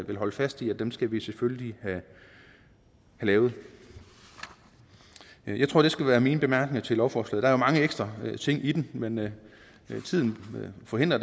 vil holde fast i at dem skal vi selvfølgelig have lavet jeg tror det skal være mine bemærkninger til lovforslaget er mange ekstra ting i det men men tiden forhindrer